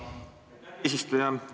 Aitäh, eesistuja!